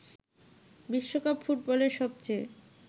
বিশ্বকাপ ফুটবলের সবচেয়ে